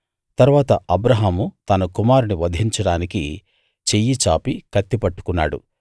తరువాత అబ్రాహాము తన కుమారుణ్ణి వధించడానికి చెయ్యి చాపి కత్తి పట్టుకున్నాడు